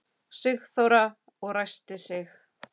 Sigþóra og ræskti sig.